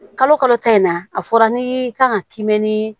Kalo kalo ta in na a fɔra ni i kan ka k'i mɛn ni